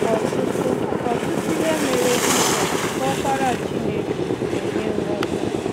Ọtụtụ Ọtụtụ ihe mere Jizọs, bụ Ọkpara Chineke, na-enye nghọta.